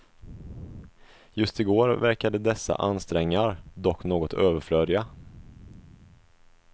Just i går verkade dessa ansträngar dock något överflödiga.